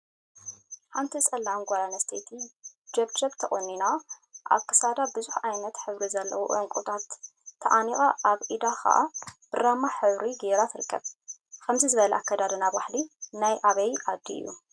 ሓንቲ ፀላም ጓል አንስተይቲ ጀብጀብ ተቆኒና አብ ክሳዳ ቡዙሕ ዓይነትን ሕብሪን ዘለዎም ዕንቍታት ተዓኒቃ አብ ኢዳ ከዓ ብራማ ሕብሪ ገይራ ትርከብ፡፡ ከምዚ ዝበለ አከዳድና ባህሊ ናይ አበይ ዓዲ እዩ?